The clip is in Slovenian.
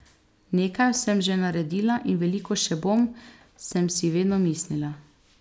Nekaj sem že naredila in veliko še bom, sem si vedno mislila.